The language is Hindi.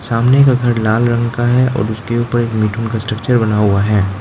सामने का घर लाल रंग का है और उसके ऊपर एक मिठुन का स्ट्रक्चर बना हुआ है।